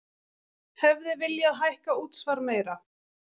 Hefði viljað hækka útsvar meira